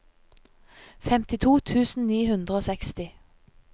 femtito tusen ni hundre og seksti